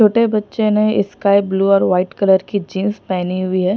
छोटे बच्चे ने स्काई ब्लू और व्हाईट कलर की जींस पहनी हुई है।